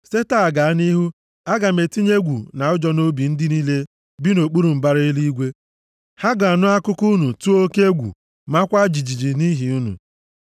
Site taa gaa nʼihu, aga m etinye egwu na ụjọ nʼobi ndị niile bi nʼokpuru mbara eluigwe. Ha ga-anụ akụkọ unu tụọ oke egwu, maakwa jijiji nʼihi unu.”